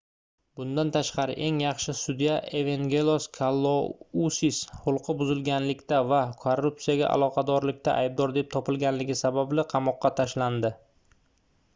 bundan tashqari eng yaxshi sudya evengelos kalousis xulqi buzilganlikda va korrupsiyaga aloqadorlikda aybdor deb topilganligi sababli qamoqqa tashlanadi